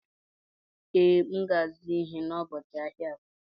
Ee, M ga-azụ ihe n'ubochi ahịa Afọ.